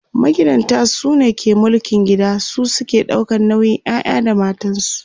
magidanta sune ke mulkin gida su suke ɗaukan nauyin ƴaƴa da matansu